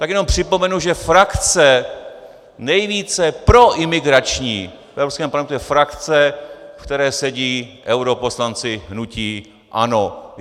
Tak jenom připomenu, že frakce nejvíce proimigrační v Evropském parlamentu je frakce, ve které sedí europoslanci hnutí ANO.